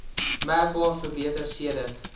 merkbaar verbeter sedert